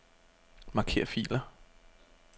Marker filer.